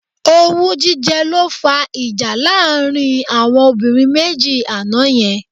Owú jíjẹ ló fá ìjà láàrin àwọn obìnrin méjì àná yẹn.